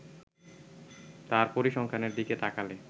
তার পরিসংখ্যানের দিকে তাকালে